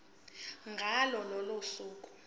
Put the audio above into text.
ngalo lolo suku